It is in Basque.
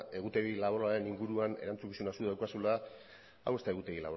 egutegi laboralaren inguruan erantzukizuna zuk daukazula hau ez da egutegi